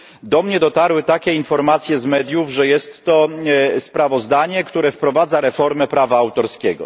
Do mnie dotarły takie informacje z mediów, że jest to sprawozdanie, które wprowadza reformę prawa autorskiego.